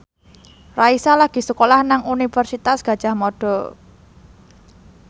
Raisa lagi sekolah nang Universitas Gadjah Mada